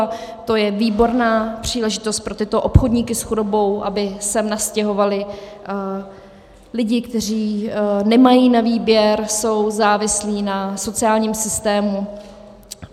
A to je výborná příležitost pro tyto obchodníky s chudobou, aby sem nastěhovali lidi, kteří nemají na výběr, jsou závislí na sociálním systému.